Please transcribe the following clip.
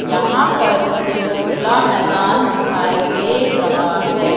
यहां पर मुझे खुला मैदान दिखाई दे रहा है।